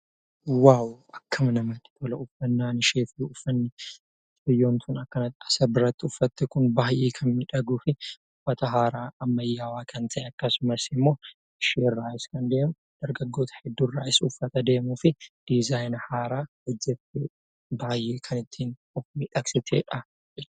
Waawo(wow) akkam namatti tola! uffannaan ishee fi uffatni ishee mucayyoon kun akkanattu as biratti uffaatte kun baay'ee kan miidhaguu fi uffata haaraa ammayyaawaa kan ta'e, akkasumas immoo isheerraas kan deemu, dargaggoota hedduurraas uffata deemuu fi dizzaayina haaraa hojjettee baay'ee kan ittiin of miidhagsitedha.